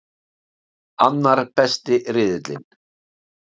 Annar besti riðillinn